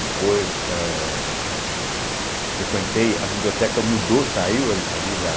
Depois, eh frequentei a biblioteca mudou, saiu ali ali da.